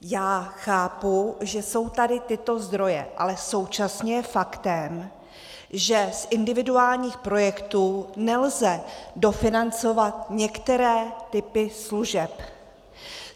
Já chápu, že jsou tady tyto zdroje, ale současně je faktem, že z individuálních projektů nelze dofinancovat některé typy služeb.